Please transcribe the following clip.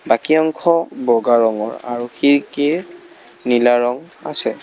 বাকী অংশ বগা ৰঙৰ আৰু খিৰিকীৰ নীলা ৰং আছে।